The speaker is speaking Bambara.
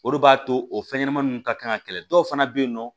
O de b'a to o fɛnɲɛnɛma ninnu ka kan ka kɛlɛ dɔw fana bɛ yen nɔ